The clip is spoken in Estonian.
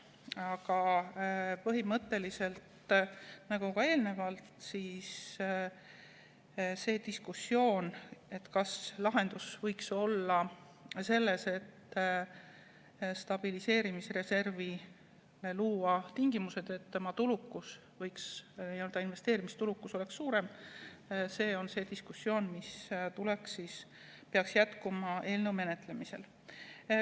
Aga põhimõtteliselt see diskussioon, kas lahendus võiks olla selles, et stabiliseerimisreservile luua tingimused, et tema investeerimistulukus oleks suurem, peaks jätkuma eelnõu menetlemisel.